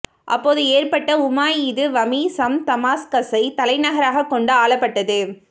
அப்போது ஏற்பட்ட உமாயிது வமி சம் தமாஸ்கஸைத் தலைநகராகக் கொண்டு ஆளப்பட்டது